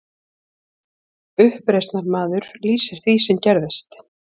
Uppreisnarmaður lýsir því sem gerðist